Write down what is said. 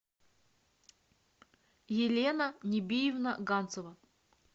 елена нибиевна ганцева